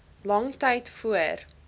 lang tyd voor